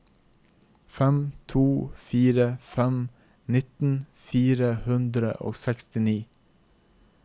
fem to fire fem nittien fire hundre og sekstini